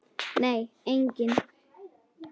Nei, enginn